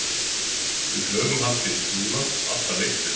Við höfum haldið í trúna alla leiktíðina.